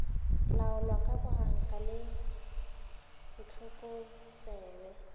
laolwa ka boganka le bohlokotsebe